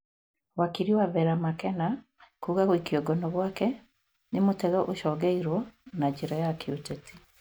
Wakiri wa Vera Makena kuga gũikio ngono gwake nĩ mũtego ũcogeirwo na njĩra ya kĩũteti